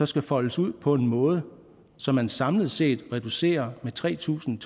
skal foldes ud på en måde så man samlet set reducerer med tre tusind